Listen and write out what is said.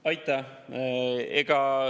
Aitäh!